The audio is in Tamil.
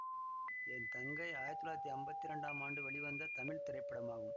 என் தங்கை ஆயிரத்தி தொள்ளாயிரத்தி அம்பத்தி இரண்டாம் ஆண்டு வெளிவந்த தமிழ் திரைப்படமாகும்